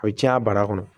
O bɛ caya bara kɔnɔ